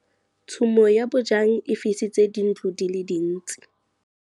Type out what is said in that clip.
Tshumô ya bojang e fisitse dintlo di le dintsi.